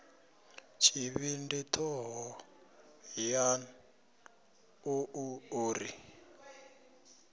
tshivhindi thohoyanḓ ou o ri